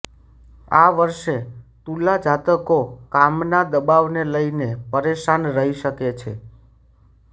આ વર્ષે તુલા જાતકો કામના દબાવને લઇને પરેશાન રહી શકે છે